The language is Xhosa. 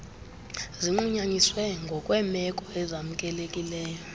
zinqunyanyiswe ngokweemeko ezamkelekileyo